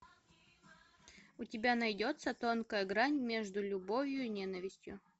у тебя найдется тонкая грань между любовью и ненавистью